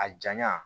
A janya